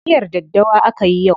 Miyar daddawa akayi yau.